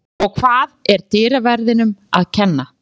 Og það var dyraverðinum að kenna.